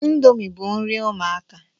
Indomie bu nri ụmụaka